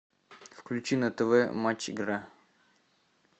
включи на тв матч игра